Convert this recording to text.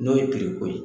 N'o ye ko ye